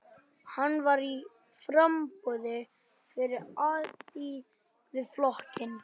Hann var í framboði fyrir Alþýðuflokkinn.